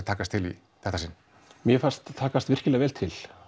takast mér fannst takast virkilega vel til